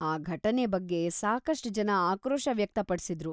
ಈ ಘಟನೆ ಬಗ್ಗೆ ಸಾಕಷ್ಟ್ ಜನ ಆಕ್ರೋಶ ವ್ಯಕ್ತಪಡ್ಸಿದ್ರು.